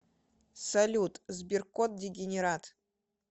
салют сберкот дегенерат